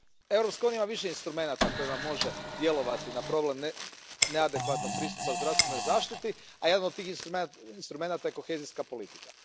Europska unija ima više instrumenata kojima može djelovati na problem neadekvatnog pristupa zdravstvenoj zaštiti, a jedan od tih instrumenata je kohezijska politika.